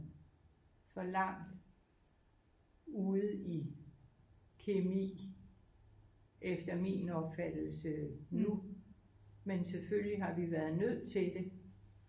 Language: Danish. For langt ude i kemi efter min opfattelse nu men selvfølgelig har vi været nødt til det